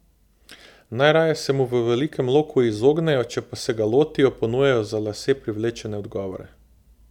Najraje se mu v velikem loku izognejo, če pa se ga lotijo, ponujajo za lase privlečene odgovore.